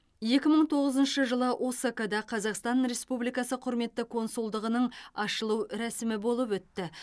екі мың тоғызыншы жылы осакада қазақстан республикасы құрметті консулдығының ашылу рәсімі болып өтті